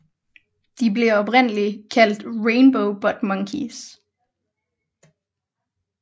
De blev oprindeligt kaldt Rainbow Butt Monkeys